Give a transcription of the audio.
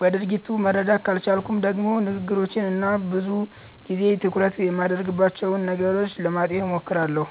በድርጊቱ መረዳት ካልቻልኩም ደግሞ ንግግሮቹን እና ብዙ ጊዜ ትኩረት የሚያደርግባቸውን ነገሮች ለማጤን እሞክራለሁ።